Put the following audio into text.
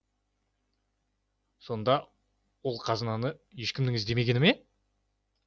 сонда ол қазынаны ешкімнің іздемегені ме